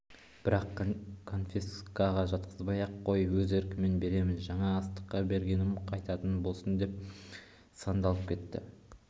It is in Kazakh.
бірақ конфескаға жатқызбай-ақ қой өз еркіммен беремін жаңа астықта бергенім қайтатын болсын не деп сандалып кетті